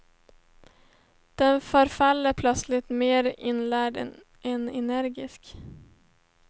Den förefaller plötsligt mer inlärd än energisk.